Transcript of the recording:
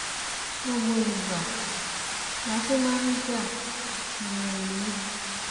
gbogbo ìgbà la fi máa ń jà nínú ilé